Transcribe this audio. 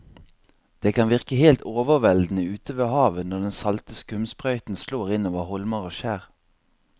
Det kan virke helt overveldende ute ved havet når den salte skumsprøyten slår innover holmer og skjær.